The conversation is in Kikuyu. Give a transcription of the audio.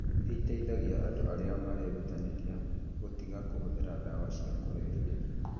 nĩ iteithagia andũ arĩa marerutanĩria gũtiga kũhũthĩra ndawa cia kũrebia.